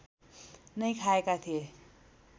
नै खाएका थिए